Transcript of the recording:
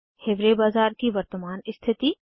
हिवारे बाजार की वर्तमान स्थिति